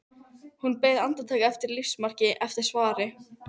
Hún beið andartak eftir lífsmarki, eftir svari.